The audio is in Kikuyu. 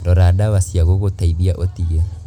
Rora ndawa cia gũgũteithia ũtige.